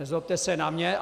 Nezlobte se na mě.